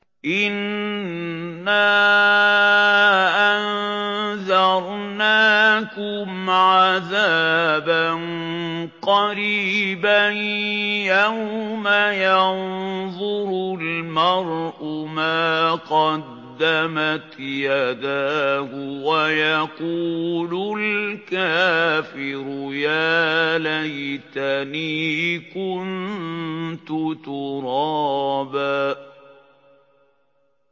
إِنَّا أَنذَرْنَاكُمْ عَذَابًا قَرِيبًا يَوْمَ يَنظُرُ الْمَرْءُ مَا قَدَّمَتْ يَدَاهُ وَيَقُولُ الْكَافِرُ يَا لَيْتَنِي كُنتُ تُرَابًا